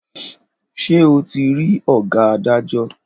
Ṣe ọ ti rí oga adajo?